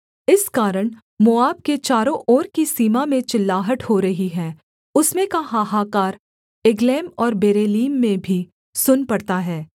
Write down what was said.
इस कारण मोआब के चारों ओर की सीमा में चिल्लाहट हो रही है उसमें का हाहाकार एगलैम और बेरेलीम में भी सुन पड़ता है